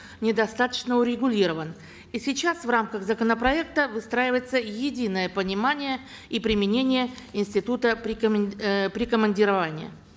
недостаточно урегулирован и сейчас в рамках законопроекта выстраивается единое понимание и применение института э прикомандирования